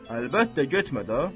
Əlbəttə, getmə də.